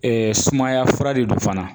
sumaya fura de don fana